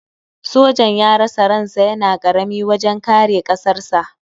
Sojan ya rasa ran sa yana karami wajen kare ƙasarsa.